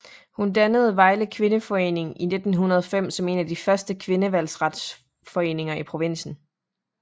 Hun dannede Vejle Kvindeforening i 1905 som en af de første kvindevalgretsforeninger i provinsen